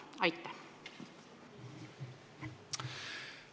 Miks nii?